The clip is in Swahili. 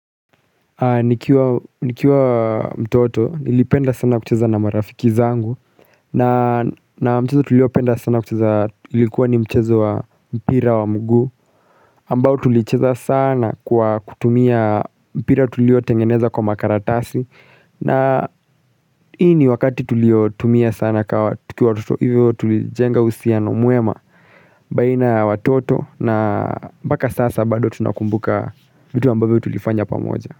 Nikiwa mtoto nilipenda sana kucheza na marafiki zangu na mchezo tuliopenda sana kucheza ulikuwa ni mchezo wa mpira wa mguu ambao tulicheza sana kwa kutumia mpira tuliotengeneza kwa makaratasi na hii ni wakati tuliotumia sana tukiwa watoto hivyo tulijenga uhusiano mwema baina ya watoto na mpaka sasa bado tunakumbuka vitu ambavyo tulifanya pamoja.